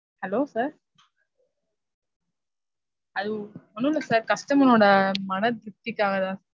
hello sir. அது ஒன்னும் ஒன்னுமில்ல sir customer ஒட மனத்திருப்த்திக்காகதா sir.